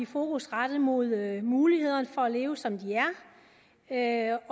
fokus rettet mod mulighederne for at leve som de er